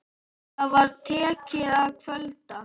Það var tekið að kvölda.